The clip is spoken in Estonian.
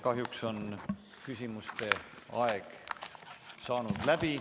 Kahjuks on küsimuste aeg saanud läbi.